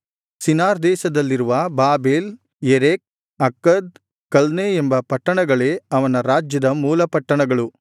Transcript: Shinar ದೇಶದಲ್ಲಿರುವ Babel Erech Akkad Calneh ಎಂಬ ಪಟ್ಟಣಗಳೇ ಅವನ ರಾಜ್ಯದ ಮೂಲ ಪಟ್ಟಣಗಳು